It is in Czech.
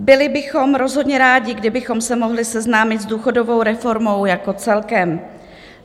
Byli bychom rozhodně rádi, kdybychom se mohli seznámit s důchodovou reformou jako celkem.